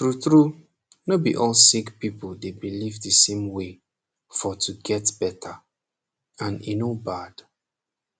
trutru no be all sick people dey believe the same way for to get beta and e no bad